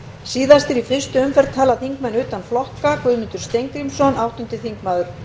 síðastir í fyrstu umferð tala þingmenn utan flokka guðmundur steingrímsson áttundi þingmaður